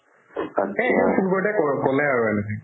সেই সেই পূৰ্বতে ক' ~ ক'লে আৰু এনেকে